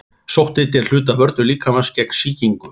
Sótthiti er hluti af vörnum líkamans gegn sýkingu.